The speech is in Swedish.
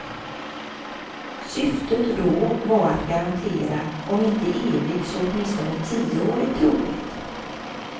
Syftet då var att garantera om inte evig så åtminstone tioårig trohet.